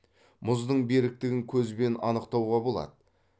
мұздың беріктігін көзбен анықтауға болады